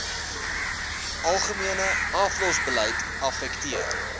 algemene aflosbeleid affekteer